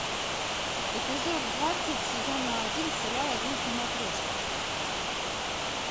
эпизод двадцать сезона один сериал о жизни матрешки